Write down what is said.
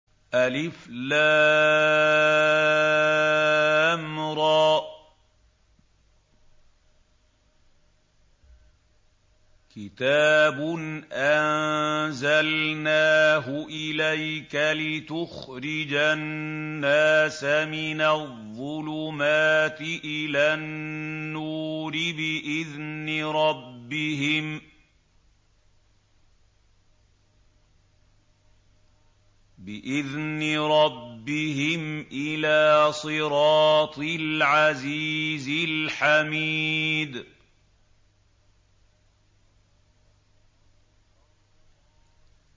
الر ۚ كِتَابٌ أَنزَلْنَاهُ إِلَيْكَ لِتُخْرِجَ النَّاسَ مِنَ الظُّلُمَاتِ إِلَى النُّورِ بِإِذْنِ رَبِّهِمْ إِلَىٰ صِرَاطِ الْعَزِيزِ الْحَمِيدِ